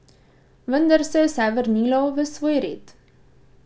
Vendar se je vse vrnilo v svoj red.